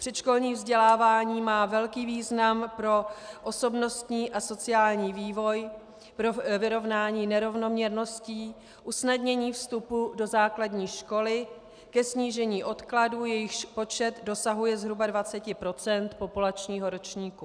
Předškolní vzdělávání má velký význam pro osobnostní a sociální vývoj, pro vyrovnání nerovnoměrností, usnadnění vstupu do základní školy, ke snížení odkladů, jejichž počet dosahuje zhruba 20 % populačního ročníku.